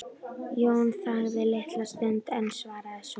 Jón þagði litla stund en svaraði svo